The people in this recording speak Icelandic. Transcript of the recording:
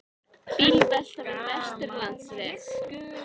Bílvelta við Vesturlandsveg